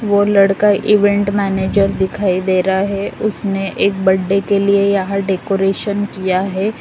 वह लड़का event manager दिखाई दे रहा है उसने एक बर्थडे के लिए यहां डेकोरेशन किया है।